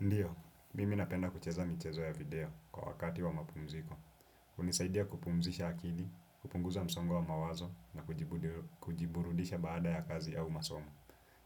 Ndiyo, mimi napenda kucheza michezo ya video kwa wakati wa mapumziko. Hunisaidia kupumzisha akili, kupunguza msongo wa mawazo na kujiburudisha baada ya kazi au masomo.